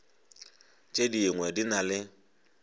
tše dingwe di na le